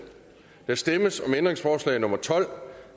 der stemmes om ændringsforslag nummer tolv